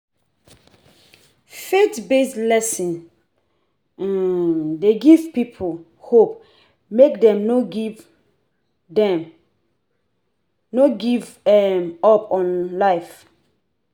Faith based lesson um de give pipo hope make dem no give dem no give um up on life